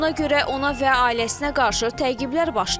Buna görə ona və ailəsinə qarşı təqiblər başlayıb.